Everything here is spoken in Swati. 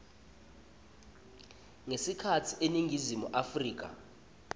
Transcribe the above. ngekhatsi eningizimu afrika